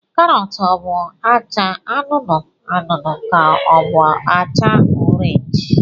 Karọt ọ bụ acha anụnụ anụnụ ka ọ bụ acha orenji?